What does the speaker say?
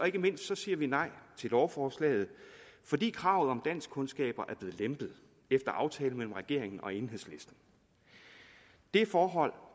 ikke mindst siger vi nej til lovforslaget fordi kravet om danskkundskaber er blevet lempet efter aftale mellem regeringen og enhedslisten det forhold